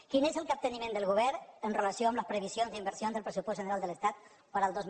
quin és el capteniment del govern amb relació a les previsions d’inversions del pressupost general de l’estat per al dos mil dotze